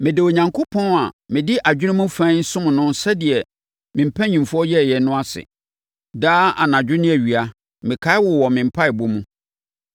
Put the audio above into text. Meda Onyankopɔn a mede adwene mu fann som no sɛdeɛ me mpanimfoɔ yɛeɛ no ase. Daa, anadwo ne awia, mekae wo wɔ me mpaeɛbɔ mu.